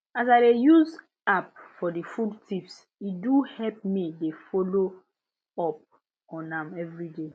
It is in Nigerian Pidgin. as i dey use app for the food tips e do help me dey follow up on am every day